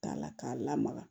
Ta'a la k'a lamaga